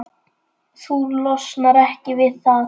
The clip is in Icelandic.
Þú losnar ekki við það.